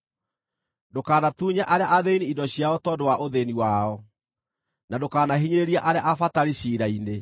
Ndũkanatunye arĩa athĩĩni indo ciao tondũ wa ũthĩĩni wao, na ndũkanahinyĩrĩrie arĩa abatari ciira-inĩ,